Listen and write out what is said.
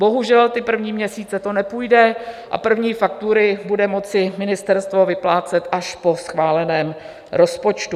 Bohužel ty první měsíce to nepůjde a první faktury bude moci ministerstvo vyplácet až po schváleném rozpočtu.